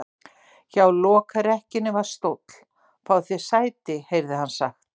Hjá lokrekkjunni var stóll:-Fáðu þér sæti, heyrði hann sagt.